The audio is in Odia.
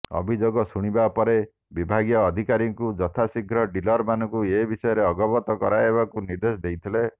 ଅଭିଯୋଗ ଶୁଣିବା ପରେ ବିଭାଗୀୟ ଅଧିକାରୀଙ୍କୁ ଯଥା ଶୀଘ୍ର ଡିଲରମାନଙ୍କୁ ଏବିଷୟରେ ଅବଗତ କରାଇବାକୁ ନିର୍ଦ୍ଧେଶ ଦେଇଥିଲେ